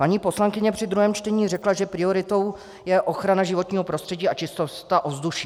Paní poslankyně při druhém čtení řekla, že prioritou je ochrana životního prostředí a čistota ovzduší.